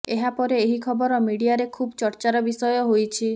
ଏହାପରେ ଏହି ଖବର ମିଡିଆରେ ଖୁବ୍ ଚର୍ଚ୍ଚାର ବିଷୟ ହୋଇଛି